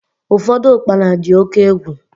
Ụfọdụ ukpana dị oke egwu